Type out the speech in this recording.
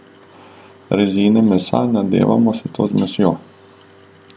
Rezine mesa nadevamo s to zmesjo.